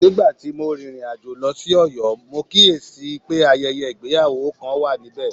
Nígbà tí mo rìnrìn àjò lọ sí Oyo, mo kíyè sí i pé ayẹyẹ ìgbéyàwó kan wà níbẹ̀